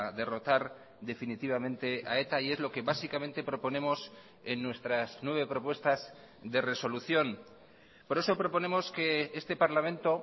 derrotar definitivamente a eta y es lo que básicamente proponemos en nuestras nueve propuestas de resolución por eso proponemos que este parlamento